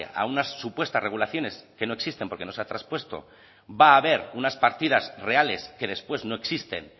a unas supuestas regulaciones que no existen porque no se ha traspuesto va a haber unas partidas reales que después no existen